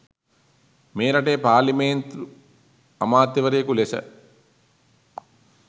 මේ රටේ පාර්ලිමේන්තු අමාත්‍යවරයකු ලෙස